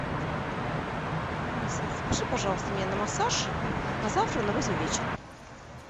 алиса запиши пожалуйста меня на массаж на завтра на восемь вечера